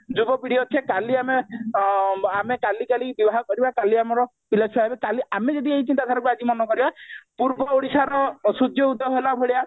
ଯୁବପିଢି ଅଛେ କାଲି ଆମେ ଆଁ ଆମେ କାଲି କାଲି ବିବାହ କରିବା କାଲି ଆମର ପିଲାଛୁଆ ହେବେ କାଲି ଆମେ ଯଦି ଏଇ ଚିନ୍ତାଧାରାକୁ ଆଜି ମନେ କରିବା ପୂର୍ବ ଓଡିଶାର ସୂର୍ଯ୍ୟ ଉଦୟ ହେଲା ଭଳିଆ